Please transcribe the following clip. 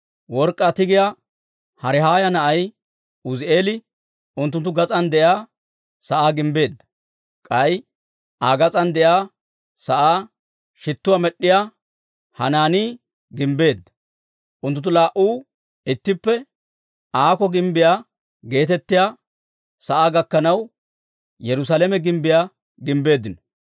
Work'k'aa tigiyaa Harihaaya na'ay Uuzi'eeli unttunttu gas'aan de'iyaa sa'aa gimbbeedda. K'ay Aa gas'aan de'iyaa sa'aa shittuwaa med'd'iyaa Hanaanii gimbbeedda. Unttunttu laa"u ittippe Aako Gimbbiyaa geetettiyaa sa'aa gakkanaw, Yerusaalame gimbbiyaa gimbbeeddino.